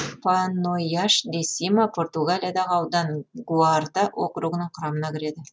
панойяш де сима португалиядағы аудан гуарда округінің құрамына кіреді